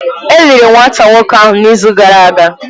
E liri nwata nwoke ahụ n’izu gara aga.